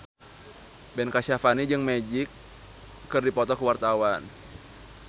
Ben Kasyafani jeung Magic keur dipoto ku wartawan